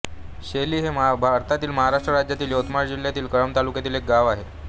शेली हे भारतातील महाराष्ट्र राज्यातील यवतमाळ जिल्ह्यातील कळंब तालुक्यातील एक गाव आहे